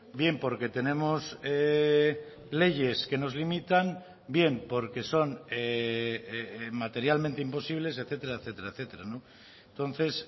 bien porque tenemos leyes que nos limitan bien porque son materialmente imposibles etcétera etcétera etcétera entonces